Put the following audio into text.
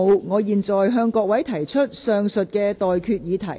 我現在向各位提出上述待決議題。